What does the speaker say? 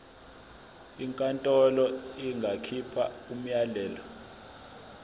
inkantolo ingakhipha umyalelo